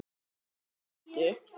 SKÚLI: Ekki?